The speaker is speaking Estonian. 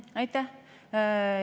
Aitäh!